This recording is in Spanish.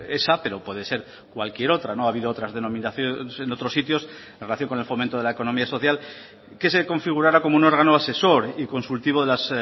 esa pero puede ser cualquier otra no ha habido otra denominaciones en otros sitios en relación con el fomento de la economía social que se configurara como un órgano asesor y consultivo de las